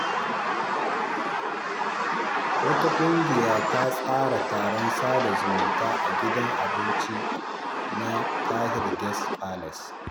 Wata ƙungiya ta tsara taron sada zumunta a gidan abinci na Tahir Guest Palace.